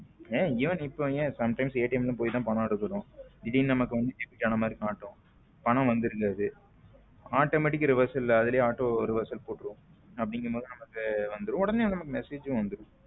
ஏன் even இப்ப ஏன some time போய் பணம் எடுக்கிறோம் திடீர் நமக்கு வந்து debit ஆன மாதிரி காட்டும் பணம் வந்திருக்காது automatic reverse அதுலே auto reverse போட்டுரும் அப்படிங்கும்போது நமக்கு உடனே வந்துடும் message வந்துரும்.